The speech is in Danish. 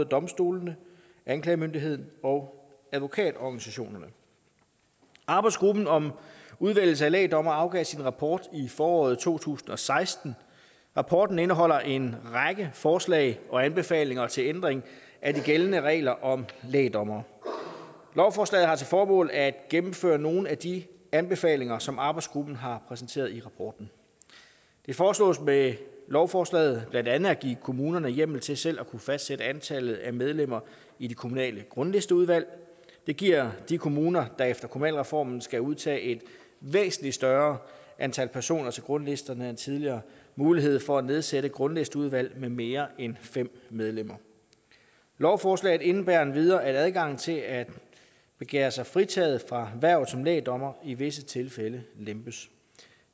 domstolene anklagemyndigheden og advokatorganisationerne arbejdsgruppen om udvælgelse af lægdommere afgav sin rapport i foråret to tusind og seksten rapporten indeholder en række forslag og anbefalinger til ændring af de gældende regler om lægdommere lovforslaget har til formål at gennemføre nogle af de anbefalinger som arbejdsgruppen har præsenteret i rapporten det foreslås med lovforslaget blandt andet at give kommunerne hjemmel til selv at kunne fastsætte antallet af medlemmer i de kommunale grundlisteudvalg det giver de kommuner der efter kommunalreformen skal udtage et væsentligt større antal personer til grundlisterne end tidligere mulighed for at nedsætte grundlisteudvalg med mere end fem medlemmer lovforslaget indebærer endvidere at adgangen til at begære sig fritaget for hvervet som lægdommer i visse tilfælde lempes